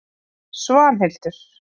Svanhildur